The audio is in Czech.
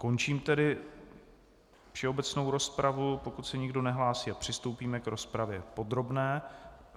Končím tedy všeobecnou rozpravu, pokud se nikdo nehlásí, a přistoupíme k rozpravě podrobné.